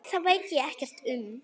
Það veit ég ekkert um.